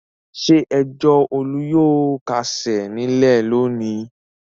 Ṣé ẹjọ́ Olú yóò kásẹ̀ nílẹ̀ lónìí?